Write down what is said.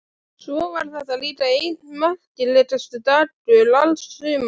Svo var þetta líka einn merkasti dagur alls sumarsins.